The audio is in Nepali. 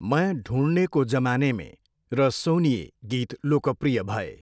मैं ढुँढने को जमाने में' र 'सोनिए' गीत लोकप्रिय भए।